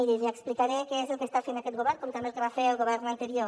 miri li explicaré què és el que està fent aquest govern com també el que va fer el govern anterior